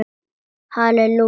Halli Júlía!